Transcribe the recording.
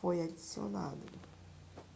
foi adicionado